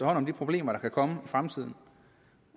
hånd om de problemer der kan komme i fremtiden